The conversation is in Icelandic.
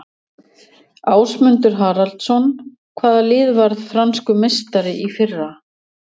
Ásmundur Haraldsson Hvaða lið varð franskur meistari í fyrra?